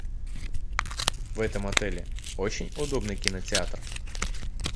в этом отеле очень удобный кинотеатр